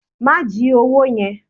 Ma ji owó yẹn.